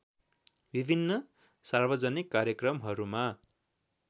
विभिन्न सार्वजनिक कार्यक्रमहरुमा